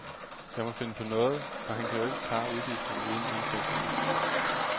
Jeg må finde på noget, for han kan jo ikke klare udgifterne uden indtægterne.